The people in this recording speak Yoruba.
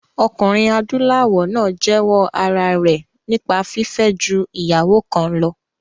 Ọkùnrin adúláwọ̀ náà jẹ́wọ́ ara rẹ̀ nípa fífẹ́ ju ìyàwó kan lọ